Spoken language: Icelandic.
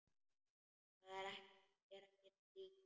Það er ekkert líf.